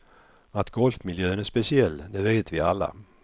Att golfmiljön är speciell, det vet vi alla.